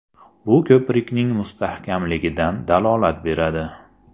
Bu ko‘prikning mustahkamligidan dalolat beradi.